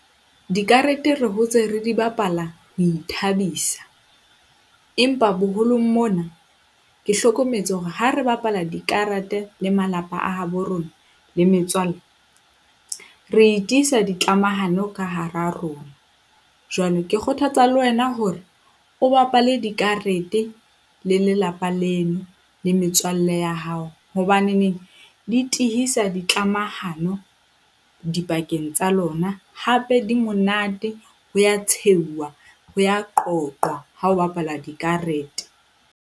Dikarete re hotse re di bapala ho ithabisa, empa boholong mona ke hlokometse hore ha re bapala dikarete le malapa a habo rona le metswalle, re tiisa dikamahano ka hara rona. Jwale ke kgothatsa le wena hore o bapale dikarete le lelapa leno le metswalle ya hao. Hobaneneng di tihisa dikamahano dipakeng tsa lona, hape di monate ho a tshehuwa, ho a qoqwa ha ho bapalwa dikarete.